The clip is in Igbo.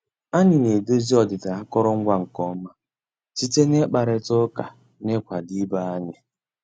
Ànyị́ ná-èdòzí ọ́dị́dà àkụ́rụngwa nkè ọ́má síté ná ị́kpàrị́tá ụ́ká ná ị́kwàdó ìbé ànyị́.